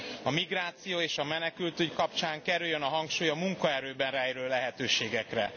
A migráció és a menekültügy kapcsán kerüljön a hangsúly a munkaerőben rejlő lehetőségekre.